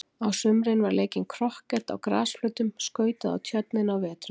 Á sumrin var leikinn krokket á grasflötum, skautað á tjörninni á vetrum.